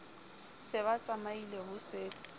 se ba tsamaile ho setse